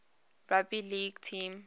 rugby league team